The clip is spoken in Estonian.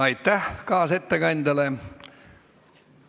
Aitäh kaasettekandjale!